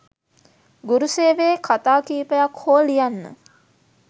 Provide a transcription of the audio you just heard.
ගුරු සේවයේ කතා කීපයක් හෝ ලියන්න.